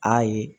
Ayi